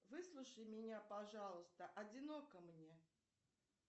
выслушай меня пожалуйста одиноко мне